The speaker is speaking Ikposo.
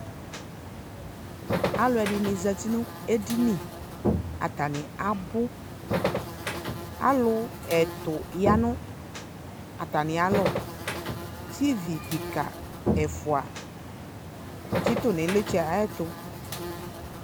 Alʋɛdɩnɩ zati nʋ edini , atanɩ abʋ Alʋ ɛtʋ ya nʋ atamɩ alɔ Tivi kika ɛfʋa tsɩtʋ n'ɩlɩtsɛ ayɛtʋ